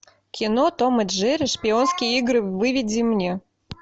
кино том и джерри шпионские игры выведи мне